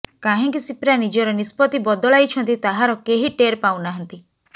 କାହିଁକି ସିପ୍ରା ନିଜର ନିଷ୍ପତ୍ତି ବଦଳାଇଛନ୍ତି ତାହାର କେହି ଟେର୍ ପାଉ ନାହାଁନ୍ତି